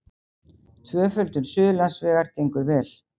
Tvöföldun Suðurlandsvegar gengur vel